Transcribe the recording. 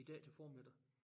I dag til formiddag